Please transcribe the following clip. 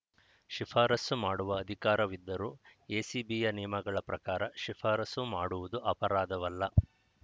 ಶಿಫಾರಸ್ಸು ಮಾಡುವ ಅಧಿಕಾರವಿದ್ದರೂ ಎಸಿಬಿಯ ನಿಯಮಗಳ ಪ್ರಕಾರ ಶಿಫಾರಸು ಮಾಡುವುದು ಅಪರಾಧವಲ್ಲ